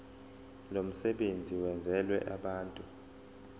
lomsebenzi wenzelwe abantu